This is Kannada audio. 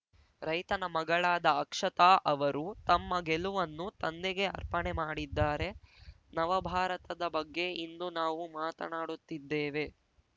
ರೈತನ ಮಗಳಾದ ಅಕ್ಷತಾ ಅವರು ತಮ್ಮ ಗೆಲುವನ್ನು ತಂದೆಗೆ ಅರ್ಪಣೆ ಮಾಡಿದ್ದಾರೆ ನವ ಭಾರತದ ಬಗ್ಗೆ ಇಂದು ನಾವು ಮಾತನಾಡುತ್ತಿದ್ದೇವೆ